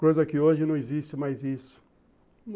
Coisa que hoje não existe mais isso.